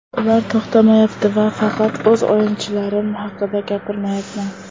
Ular to‘xtamayapti va faqat o‘z o‘yinchilarim haqida gapirmayapman.